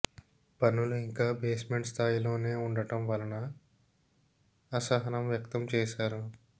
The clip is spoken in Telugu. పనులు ఇంకా బేస్మెంట్ స్థాయిలోనే ఉండటం వలన అసహనం వ్యక్తం చేశారు